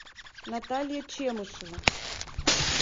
наталья чемышева